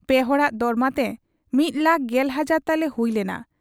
ᱯᱮ ᱦᱚᱲᱟᱜ ᱫᱚᱨᱢᱟᱛᱮ ᱢᱤᱫ ᱞᱟᱠ ᱜᱮᱞ ᱦᱟᱡᱟᱨ ᱛᱟᱞᱮ ᱦᱩᱭ ᱞᱮᱱᱟ ᱾